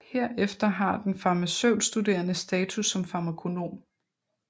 Herefter har den farmaceutstuderende status som farmakonom